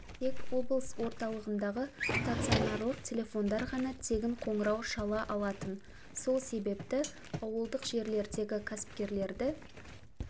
тек облыс орталығындағы стационарлық телефондар ғана тегін қоңырау шала алатын сол себепті ауылдық жерлердегі кәсіпкерлерді